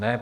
Ne.